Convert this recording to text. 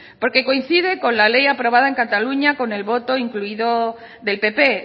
porque coincide con la ley aprobada en cataluña con el voto incluido del pp